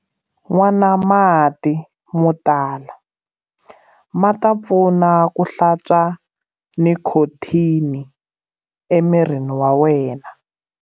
Nwana mati mo tala, ma ta pfuna ku hlantswa nikhothini emirini wa wena.